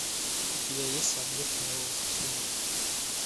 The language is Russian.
у тебя есть объект моего восхищения